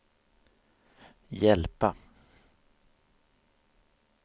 hjälpa